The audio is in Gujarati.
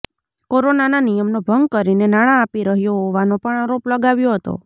કોરોનાના નિયમનો ભંગ કરીને નાણાં આપી રહ્યો હોવાનો પણ આરોપ લગાવ્યો હતો